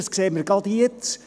Das sehen wir gerade jetzt.